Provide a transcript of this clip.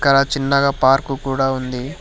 ఇక్కడ చిన్నగా పార్కు కూడా ఉంది.